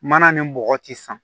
Mana ni bɔgɔ ti san